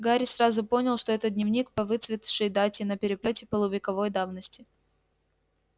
гарри сразу понял что это дневник по выцветшей дате на переплёте полувековой давности